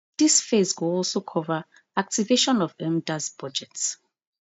dis phase go also cover activation of mdas budget